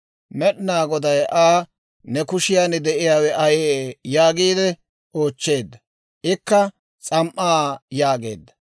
Med'inaa Goday Aa, «He ne kushiyaan de'iyaawe ayee?» yaagiide oochcheedda. Ikka «S'am"aa» yaageedda.